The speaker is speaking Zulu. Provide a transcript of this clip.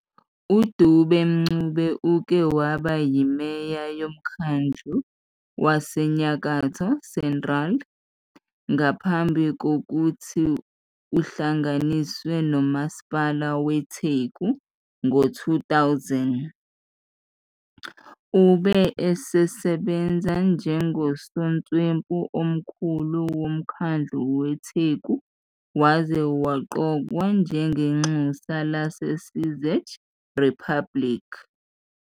UDube-Ncube uke waba yimeya yomkhandlu waseNyakatho Central ngaphambi kokuthi uhlanganiswe noMasipala weTheku ngo-2000. Ube esesebenza njengosotswebhu omkhulu womkhandlu weTheku waze waqokwa njengenxusa laseCzech Republic.